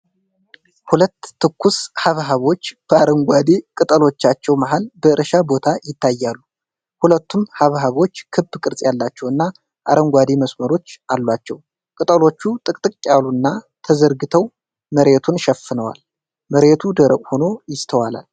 ሁለት ትኩስ ሐብሐቦች በአረንጓዴ ቅጠሎቻቸው መሃል በእርሻ ቦታ ይታያሉ። ሁለቱም ሐብሐቦች ክብ ቅርፅ ያላቸውና አረንጓዴ መስመሮች አሏቸው። ቅጠሎቹ ጥቅጥቅ ያሉና ተዘርግተው መሬቱን ሸፍነዋል። መሬቱ ደረቅ ሆኖ ይስተዋላል።